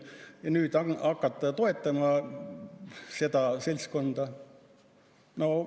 Ja nüüd hakata toetama seda seltskonda?